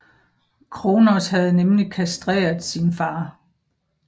Kronos havde nemlig kastreret sin far